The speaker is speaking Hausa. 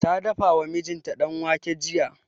Ta dafa wa mijinta danwake jiya